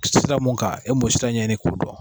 Sira mun kan e mo sira ɲɛɛɲini k'o dɔn